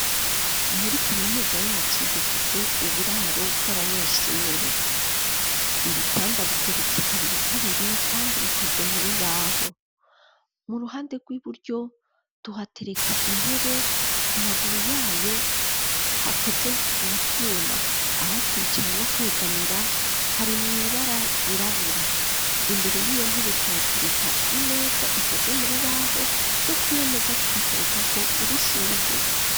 Muri kaminuza yacu dufise uburaro bw'abanyeshure, ibitanda bigeretse kabiri kabiri ,kandi bikoze mu rubaho ,mu ruhande rw'iburyo, tuhatereka intebe, ku maguru yayo hakoze mu twuma ,aho kwicara no kwegamira hari mwibara ryirabura ,imbere y'iyo ntebe tuhatereka imeza ikozwe mu rubaho, no kuri yomeza tukaterekako urushurwe.